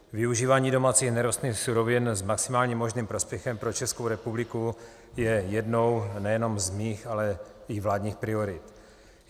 Využívání domácích nerostných surovin s maximálním možným prospěchem pro Českou republiku je jednou nejenom z mých, ale i vládních priorit.